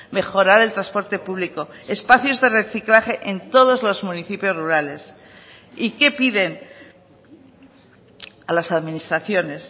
mejorar el transporte público espacios de reciclaje en todos los municipios rurales y qué piden a las administraciones